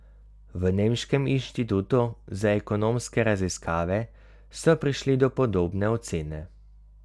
V Nemškem inštitutu za ekonomske raziskave so prišli do podobne ocene.